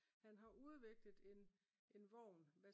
han har udviklet en en vogn